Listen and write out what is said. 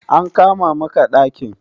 An kama maka ɗakin?